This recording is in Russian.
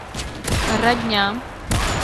родня